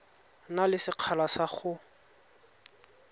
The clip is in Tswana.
na le sekgala sa go